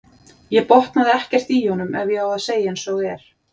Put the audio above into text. Ég botnaði ekkert í honum ef ég á að segja eins og er.